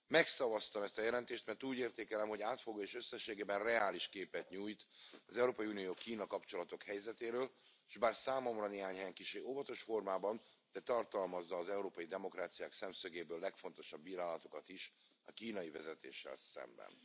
Megszavaztam ezt a jelentést, mert úgy értékelem, hogy átfogó és összességében reális képet nyújt az Európai Unió Kína kapcsolatok helyzetéről, és bár számomra néhány helyen kissé óvatos formában, de tartalmazza az európai demokráciák szemszögéből legfontosabb bírálatokat is a kínai vezetéssel szemben.